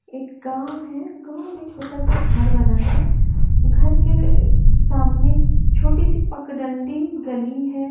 एक गांव है गांव में छोटा सा घर बना है घर के अ सामने छोटी सी पकडंडी गली है।